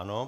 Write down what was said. Ano.